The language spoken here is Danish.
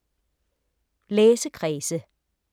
Læsekredse